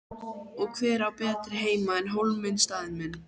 Og hver á betri heima en Hólminn staðinn minn.